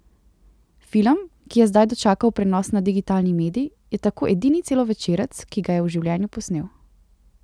Film, ki je zdaj dočakal prenos na digitalni medij, je tako edini celovečerec, ki ga je v življenju posnel.